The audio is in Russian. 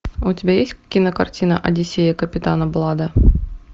у тебя есть кинокартина одиссея капитана блада